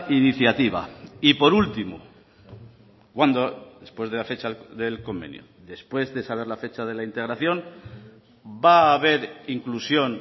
iniciativa y por último cuándo después de la fecha del convenio después de saber la fecha de la integración va a haber inclusión